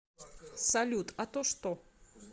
салют а то что